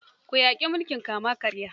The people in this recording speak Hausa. Ku yaƙi mulkin kama-karya.